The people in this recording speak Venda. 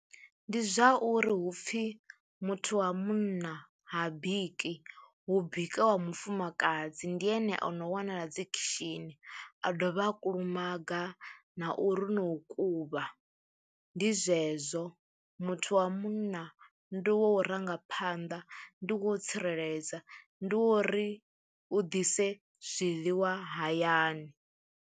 Ndi zwa uri hupfhi muthu wa munna ha bikiwa hu bika wa mufumakadzi, ndi ene ono wanala dzi khishini, a dovha a kulumaga, na u ri no kuvha, ndi zwezwo muthu wa munna ndi wo u rangaphanḓa, ndi wo tsireledza, ndi wo uri u ḓise zwiḽiwa hayani.